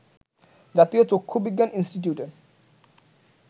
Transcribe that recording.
জাতীয় চক্ষু বিজ্ঞান ইনষ্টিটিউটের